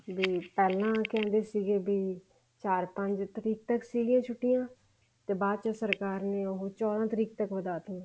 ਵੀ ਪਹਿਲਾਂ ਕਹਿੰਦੇ ਸੀਗੇ ਵੀ ਚਾਰ ਪੰਜ ਤਰੀਕ ਤੱਕ ਸੀਗੀਆਂ ਛੁੱਟੀਆਂ ਤੇ ਬਾਅਦ ਚ ਸਰਕਾਰ ਨੇ ਉਹ ਚੋਦਾਂ ਤਰੀਕ ਤੱਕ ਵਧਾ ਤੀਆਂ